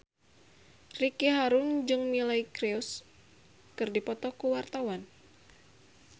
Ricky Harun jeung Miley Cyrus keur dipoto ku wartawan